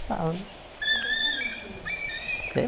né E caçavam o quê? Sei